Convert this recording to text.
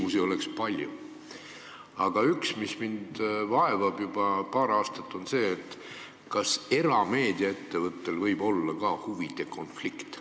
Küsimusi oleks palju, aga üks, mis mind on vaevanud juba paar aastat, on see, kas erameedia ettevõtte puhul võib ka mängus olla huvide konflikt.